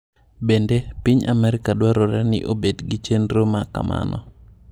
Bende, piny Amerka dwarore ni obed gi chenro ma kamano.